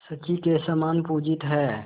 शची के समान पूजित हैं